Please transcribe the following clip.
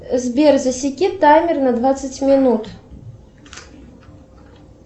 сбер засеки таймер на двадцать минут